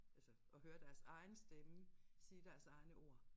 Altså at høre deres egen stemme sige deres egne ord